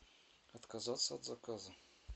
отказаться от заказа